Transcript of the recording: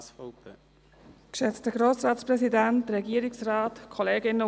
Wir haben auch gehört, dass das Ganze umstritten ist.